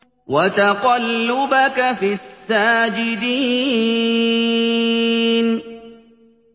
وَتَقَلُّبَكَ فِي السَّاجِدِينَ